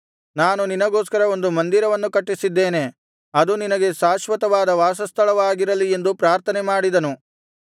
ನಾನು ನಿನಗೋಸ್ಕರ ಒಂದು ಮಂದಿರವನ್ನು ಕಟ್ಟಿಸಿದ್ದೇನೆ ಅದು ನಿನಗೆ ಶಾಶ್ವತವಾದ ವಾಸಸ್ಥಳವಾಗಿರಲಿ ಎಂದು ಪ್ರಾರ್ಥನೆಮಾಡಿದನು